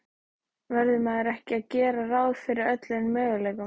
Verður maður ekki að gera ráð fyrir öllum möguleikum?